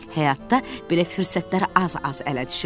Həyatda belə fürsətlər az-az ələ düşür.